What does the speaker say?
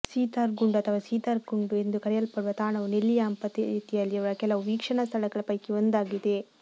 ಸೀತಾರ್ಗುಂಡು ಅಥವಾ ಸೀತಾರ್ ಕುಂಡು ಎಂದು ಕರೆಯಲ್ಪಡುವ ತಾಣವು ನೆಲ್ಲಿಯಾಂಪತಿಯಲ್ಲಿರುವ ಕೆಲವು ವೀಕ್ಷಣಾ ಸ್ಥಳಗಳ ಪೈಕಿ ಒಂದಾಗಿದೆ